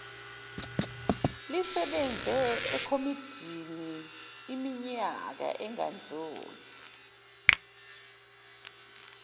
lisebenze ekomidiniiminyaka engadluli